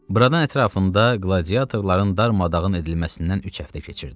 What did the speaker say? Buradan ətrafında qladiatorların darmadağın edilməsindən üç həftə keçirdi.